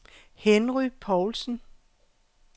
Henry Povlsen